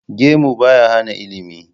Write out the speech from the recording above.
Gemu ba ya hana ilimi.